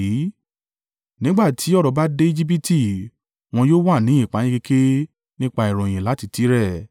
Nígbà tí ọ̀rọ̀ bá dé Ejibiti, wọn yóò wà ní ìpayínkeke nípa ìròyìn láti Tire.